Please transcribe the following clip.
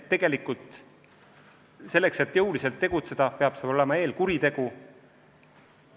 Tegelikult selleks, et jõuliselt tegutseda, peab olema eelkuritegu.